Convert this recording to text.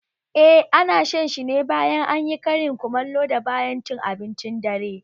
Eh, ana shan shi ne bayan anyi karin kumallo da bayan cin abincin dare